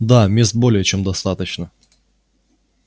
да мест более чем достаточно